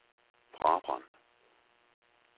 Brabrand